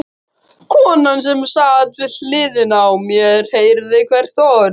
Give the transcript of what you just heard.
Konan sem sat við hliðina á mér heyrði hvert orð.